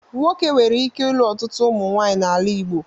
Nwoke nwere ike ilu ọtụtụ ụmụnwaanyị n'ala Igbo